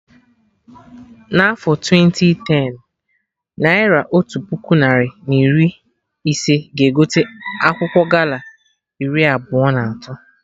Na afọ twenti tenụ, naira Otu puku narị na iri ise ga egote akwụkwọ gala iri abụọ na atọ